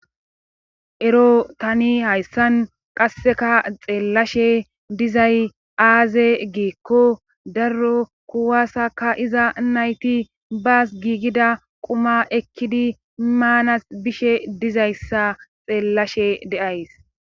ero tani hayssan qasseka xeellashe dizay aaze giikko darro kuwasaka iza nayti baas giigida quma ekkidi maanas bishe dizayssa xeellashe deays